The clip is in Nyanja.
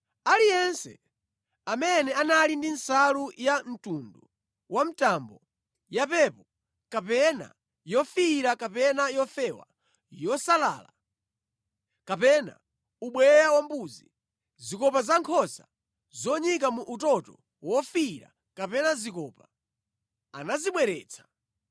Aliyense amene anali ndi nsalu ya mtundu wa mtambo, yapepo kapena yofiira kapena yofewa, yosalala, kapena ubweya wambuzi, zikopa za nkhosa zonyika mu utoto wofiira kapena zikopa anazibweretsa.